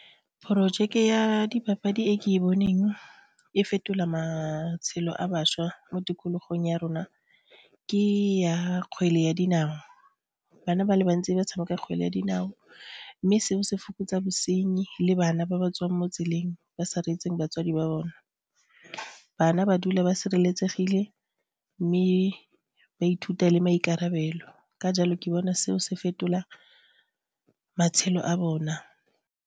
Porojeke ya dipapadi e ke e boneng e fetola matshelo a bašwa mo tikologong ya rona ke ya kgwele ya dinao, bana ba le bantsi ba tshameka kgwele ya dinao mme seo se fokotsa bosenyi le bana ba ba tswang mo tseleng ba sa reetseng batswadi ba bone. Bana ba dula ba sireletsegile mme ba ithuta le maikarabelo ka jalo ke bona seo se fetola matshelo a bona.